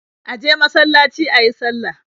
Ya je masalaci yayi sallah.